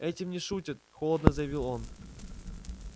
этим не шутят холодно заявил он